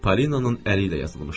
Polinanın əli ilə yazılmışdı.